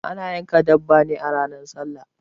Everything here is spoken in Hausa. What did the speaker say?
Ana yanka dabba ne a ranar sallah